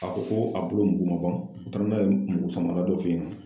A ko ko a bolo mugu ma ban n t'a dɔn, n'a ye mugusaman dɔ f'i ɲɛna